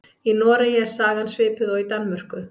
Í Noregi er sagan svipuð og í Danmörku.